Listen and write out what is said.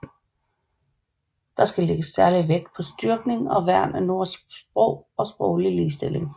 Der skal lægges særlig vægt på styrkning og værn af norsk sprog og på sproglig ligestilling